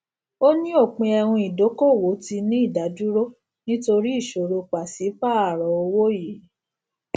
ó ní òpin ẹhun ìdókòwò tí ní ìdádúró nítorí ìṣòro pàṣípààrọ owó yìí